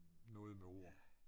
Noget med ord